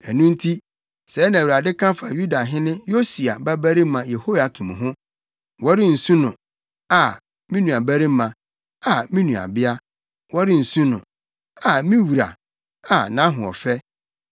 Ɛno nti, sɛɛ na Awurade ka fa Yudahene Yosia babarima Yehoiakim ho: “Wɔrensu no: ‘A, me nuabarima! A, me nuabea!’ Wɔrensu no: ‘A, me wura! A, nʼahoɔfɛ!’